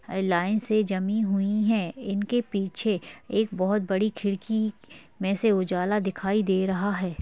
य लाइन्स से जमी हुई है इनके पीछे एक बहुत बड़ी खिड़की मे से उजाला दिखाई दे रहा है।